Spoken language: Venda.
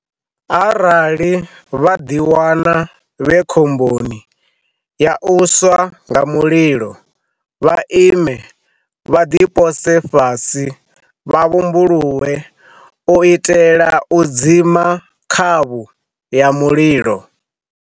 Arali vha ḽiwana vhe khomboni ya u swa nga mulilo, vha ime, vha ḽipose fhasi vha vhumbuluwe u itela u dzima khavhu ya mulilo.